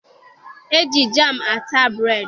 E ji jaam ata breedị